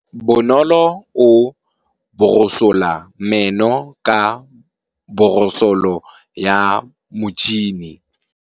Bonolô o borosola meno ka borosolo ya motšhine.